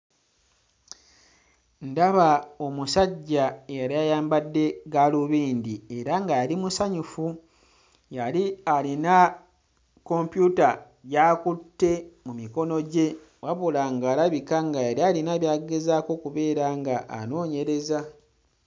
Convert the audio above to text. Ndaba omusajja eyali ayambadde gaalubindi era nga yali musanyufu. Yali alina kompyuta gy'akutte mu mikono gye wabula ng'alabika nga yali alina by'agezaako okubeera ng'anoonyereza.